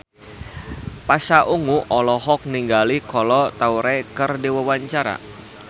Pasha Ungu olohok ningali Kolo Taure keur diwawancara